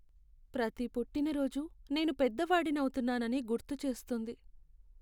ప్రతి పుట్టినరోజు నేను పెద్దవాడిని అవుతున్నానని గుర్తు చేస్తుంది.